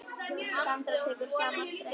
Sandra tekur í sama streng.